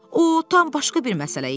O tam başqa bir məsələ idi.